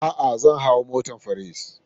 A'a, zan hau motar Ferris.